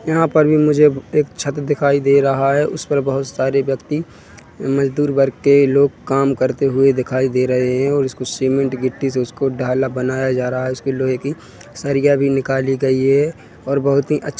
यहाँ पर भी मुझे एक छत दिखाई दे रहा है उस पर बहोत सारे व्यक्ति मजदुर वर्ग के लोग काम करते हुए दिखाई दे रहे है और उसको सीमेंट गिट्टी से उसको डाला बनाए जा रहा है उसके लोहे की सरिया भी निकाली गयी है और बहुत ही अच्छा --